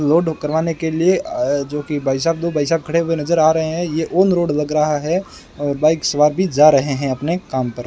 Load करवाने के लिए जो कि भाई साहब दो भाई साहब खड़े हुए नजर आ रहे हैं ये ऑन रोड लग रहा है और बाइक सवार भी जा रहे हैं अपने काम पर।